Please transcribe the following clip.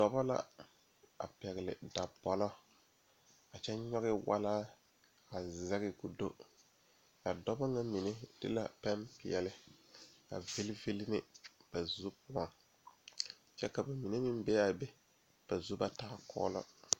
Dɔɔba la ne pɔge la ka Sakubiiri a are kaa dɔɔ su kpare buluu a teɛ o nu Kyaara sakubie kpankpane a Sakubiiri mine lerɛ ba nuure ba taa kɔlo.